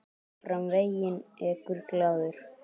Áfram veginn ekur glaður.